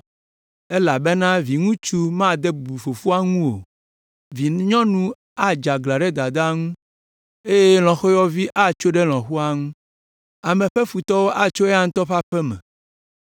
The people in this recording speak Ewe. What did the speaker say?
elabena viŋutsu made bubu fofoa ŋu o; vinyɔnu adze aglã ɖe dadaa ŋu eye lɔ̃xoyɔvi atso ɖe lɔ̃xoa ŋu. Ame ƒe futɔwo atso eya ŋutɔ ƒe aƒe me.